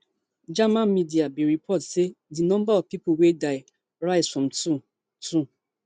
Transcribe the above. german media bin report say di number of pipo wey die rise from two two